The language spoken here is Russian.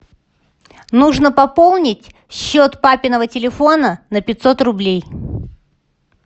нужно пополнить счет папиного телефона на пятьсот рублей